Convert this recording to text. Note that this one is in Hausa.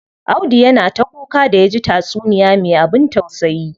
Audu yana ta kuka da yaji taysuniya me abin tausayi.